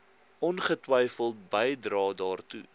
ongetwyfeld bydrae daartoe